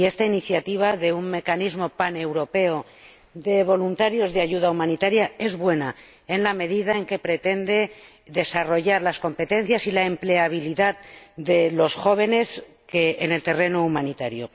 Esta iniciativa de un mecanismo paneuropeo de voluntarios de ayuda humanitaria es buena, en la medida en que pretende desarrollar las competencias y la empleabilidad de los jóvenes en el terreno humanitario.